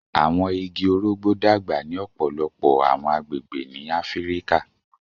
Awọn igi orogbo dagba ni ọpọlọpọ awọn agbegbe ni Afirika